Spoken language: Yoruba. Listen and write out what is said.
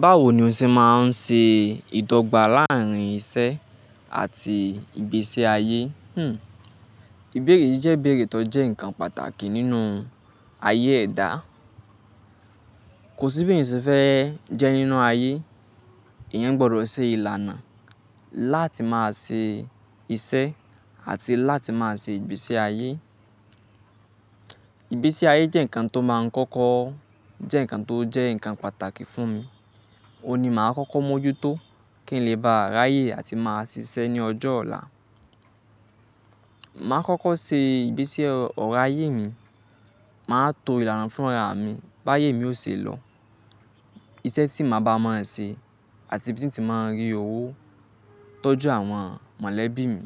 Báwo ni o ṣe máa ń ṣe ìdọ́gba láàrín iṣẹ́ àti ìgbésí ay Hmmm ìbẹ̀rẹ̀ yìí jẹ́ ìbẹ̀rẹ̀ tó jẹ́ nǹkan pàtàkì nínú ayé ẹ̀dá. Kò sí bí èyàn ṣe fẹ́ jẹ́ nínú ayé, èyàn gbọdọ̀ ṣe ìlànà láti máa ṣe iṣẹ́ àti láti máa ṣe ìgbésí ayé. Ìgbésí ayé jẹ́ ǹkan tó máa ń kọ́kọ́ jẹ́ ǹkan tó jẹ́ ǹkan pàtàkì fún mi. Ó ni màá kọ́kọ́ mójú tó kí n lè bá ráyè àti máa ṣiṣẹ́ ní ọjọ́ ọ̀la. Màá kọ́kọ́ ṣe ìgbésí ọ̀rọ̀ ayé mi, màá to ìlànà fún ra mi bá ayé mi ò ṣe lọ Iṣẹ́ tí màá ba mọ ẹ̀ ṣe àti ibi tí n tí máa ń rí owó tọ́jú àwọn mọ̀lẹ́bí mi.